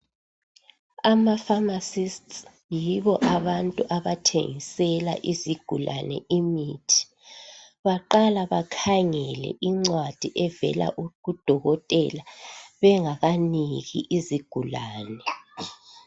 Ama"pharmacists" yibo abantu abathengisela izigulane imithi. Baqala bakhengele incwadi evela kudokotela bengakaniki izigulane.